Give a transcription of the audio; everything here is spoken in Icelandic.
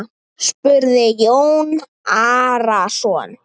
spurði Jón Arason.